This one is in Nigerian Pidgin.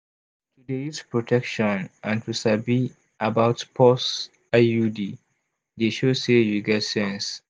to dey use protection and to sabi about pause iud de show say you get sense